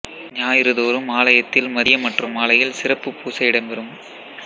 ஞாயிறு தோறும் ஆலயத்தில் மதியம் மற்றும் மாலையில் சிறப்புப் பூசை இடம்பெறும்